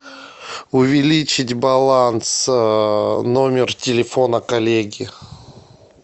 увеличить баланс номер телефона коллеги